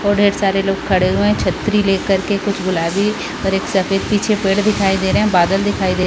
और ढेर सारे लोग खड़े हुए है छतरी ले कर के कुछ गुलाबी और एक सफ़ेद पीछे पेड़ दिखाई दे रहा है बादल दिखाई दे --